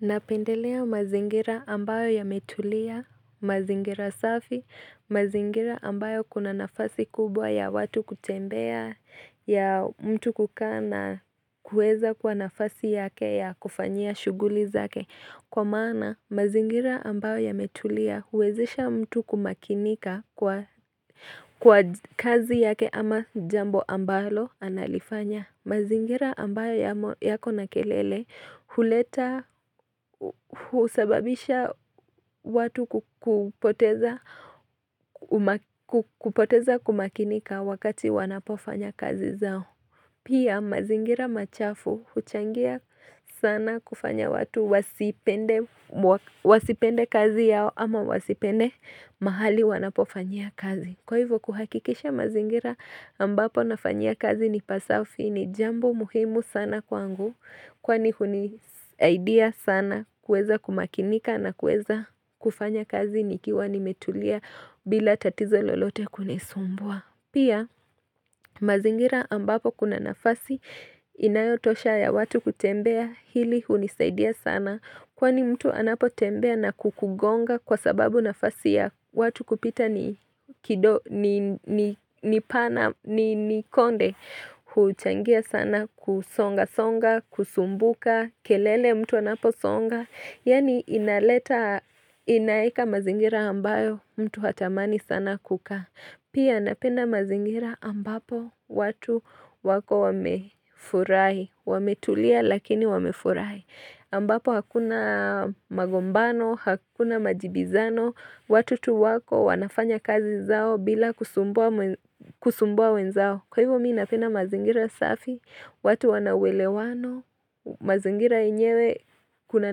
Napendelea mazingira ambayo ya metulia, mazingira safi, mazingira ambayo kuna nafasi kubwa ya watu kutembea ya mtu kukaa na kuweza kuwa nafasi yake ya kufanyia shuguli zake Kwa maana mazingira ambayo ya metulia huwezesha mtu kumakinika kwa kazi yake ama jambo ambalo analifanya mazingira ambayo yako na kelele huleta usababisha watu kupoteza kumakinika wakati wanapofanya kazi zao. Pia mazingira machafu huchangia sana kufanya watu wasipende kazi yao ama wasipende mahali wanapofanyia kazi. Kwa hivyo kuhakikisha mazingira ambapo nafanyia kazi ni pasafi ni jambo muhimu sana kwangu kwani huni saidia sana kueza kumakinika na kueza kufanya kazi ni kiwa nimetulia bila tatizo lolote kunisumbua. Pia mazingira ambapo kuna nafasi inayotosha ya watu kutembea hili unisaidia sana kwani mtu anapo tembea na kukugonga kwa sababu nafasi ya watu kupita ni konde huchangia sana kusonga songa kusumbuka kelele mtu anapo songa Yani inaleta inaeka mazingira ambayo mtu hatamani sana kukaa. Pia napenda mazingira ambapo watu wako wamefurahi. Wametulia lakini wamefurahi. Ambapo hakuna magombano, hakuna majibizano. Watu tu wako wanafanya kazi zao bila kusumbua wenzao. Kwa hivyo mii napenda mazingira safi, watu wanauwelewano, mazingira yenyewe kuna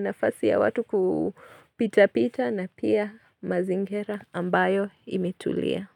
nafasi ya watu kupita pita na pia mazingira ambayo imetulia.